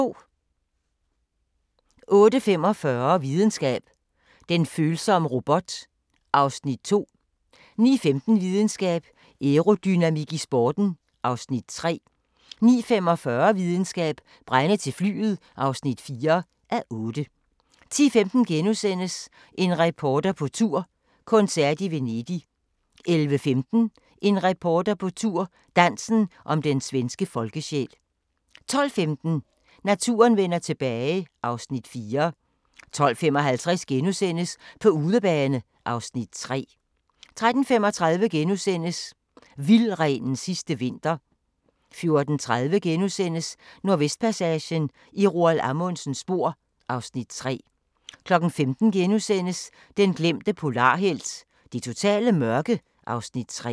08:45: Videnskab: Den følsomme robot (2:8) 09:15: Videnskab: Aerodynamik i sporten (3:8) 09:45: Videnskab: Brænde til flyet (4:8) 10:15: En reporter på tur – koncert i Venedig * 11:15: En reporter på tur – Dansen om den svenske folkesjæl 12:15: Naturen vender tilbage (Afs. 4) 12:55: På udebane (Afs. 3)* 13:35: Vildrenens sidste vinter * 14:30: Nordvestpassagen – i Roald Amundsens spor (Afs. 3)* 15:00: Den glemte polarhelt: Det totale mørke (Afs. 3)*